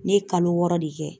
Ne ye kalo wɔɔrɔ de kɛ